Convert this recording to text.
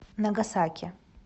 нагасаки